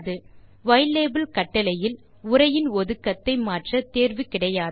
யிலாபெல் கட்டளையில் உரையின் ஒதுக்கத்தை மாற்ற தேர்வு கிடையாது